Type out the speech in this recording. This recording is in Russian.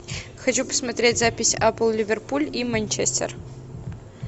хочу посмотреть запись апл ливерпуль и манчестер